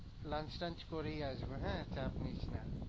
Lunch, lunch করেই আসবো হ্যাঁ চাপ নিস না।